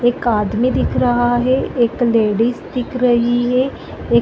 एक आदमी दिख रहा है एक लेडिस दिख रही है एक--